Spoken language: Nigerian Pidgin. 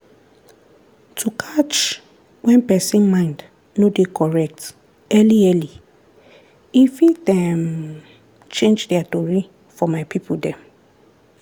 to catch when pesin mind no dey correct early early e fit change their tory for my people dem